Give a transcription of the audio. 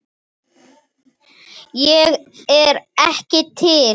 Ég er ekki til.